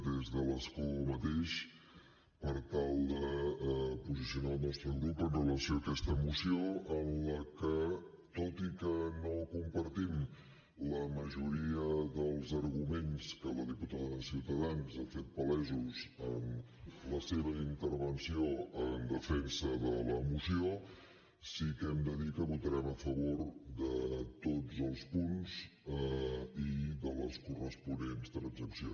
des de l’escó mateix per tal de posicionar el nostre grup amb relació a aquesta moció en la que tot i que no compartim la majoria dels arguments que la diputada de ciutadans ha fet palesos en la seva intervenció en defensa de la moció sí que hem de dir que votarem a favor de tots els punts i de les corresponents transaccions